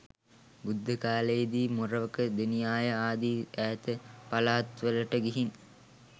යුද්ධ කාලයේ දී මොරවක, දෙනියාය ආදී ඈත පළාත්වලට ගිහින්